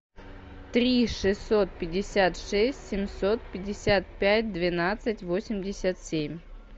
три шестьсот пятьдесят шесть семьсот пятьдесят пять двенадцать восемьдесят семь